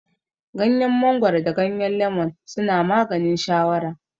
Gyanyen mangoro da gyanyen lemon suna maganin shawara